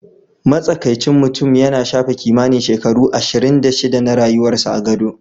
Matsakaicin mutum yana shafe kimanin shekaru ashirin da shida na rayuwarsa a gado.